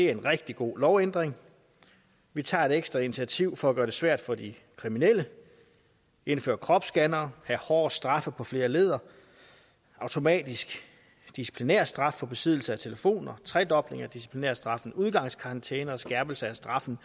er en rigtig god lovændring vi tager et ekstra initiativ for at gøre det svært for de kriminelle vi indfører kropsscannere hårdere straffe på flere ledder automatisk disciplinærstraf for besiddelse af telefoner tredobling af disciplinærstraffen udgangskarantæner og skærpelse af straffen